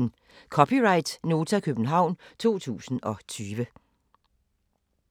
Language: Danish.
(c) Nota, København 2020